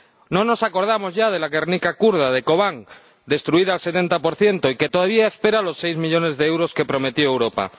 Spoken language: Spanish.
No nos acordamos ya de la Guernica kurda, de Kobane, destruida al 70 y que todavía espera los seis millones de euros que prometió Europa.